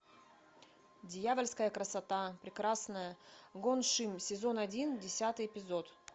дьявольская красота прекрасная гон шим сезон один десятый эпизод